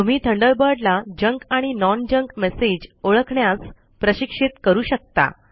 तुम्ही थंडरबर्ड ला जंक आणि नॉन जंक मेसेज ओळखण्यास प्रशिक्षित करू शकता